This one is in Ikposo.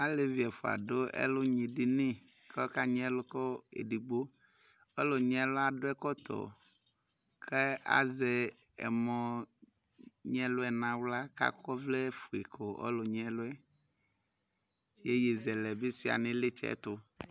Zlevɩ ɛfʊa dʊ ɛlʊnyi dɩnɩ kʊ akanyɩ ɛlu kʊ edɩgbo kʊ akɔ ɛkɔtɔ kʊ azɛ ɛmɔnyɩɛluɛ nʊ axla kʊ akɔ ɔvlɛfʊe kʊ ɔlʊyɛ kʊ akanyɩ ɛluyɛ ka yeye yɛvi ɛsɛ suɩa nʊ ɩlɩtsɛ